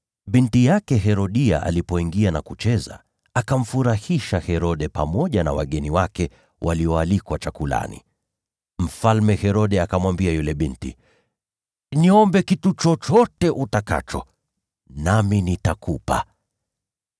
Binti yake Herodia alipoingia na kucheza, akamfurahisha Herode pamoja na wageni wake walioalikwa chakulani. Mfalme Herode akamwambia yule binti, “Niombe kitu chochote utakacho, nami nitakupa.”